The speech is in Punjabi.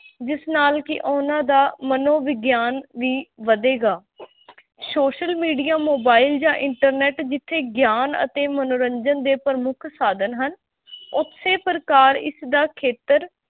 ਜਿਸ ਨਾਲ ਕਿ ਉਹਨਾਂ ਦਾ ਮਨੋ ਵਿਗਿਆਨ ਵੀ ਵਧੇਗਾ social media, mobile ਜਾਂ internet ਜਿੱਥੇ ਗਿਆਨ ਅਤੇ ਮਨੋਰੰਜਨ ਦੇ ਪ੍ਰਮੁੱਖ ਸਾਧਨ ਹਨ ਉਸੇ ਪ੍ਰਕਾਰ ਇਸਦਾ ਖੇਤਰ